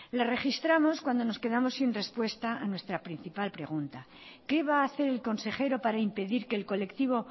la registramos cuando nos quedamos sin respuesta a nuestra principal pregunta qué va a hacer el consejero para impedir que el colectivo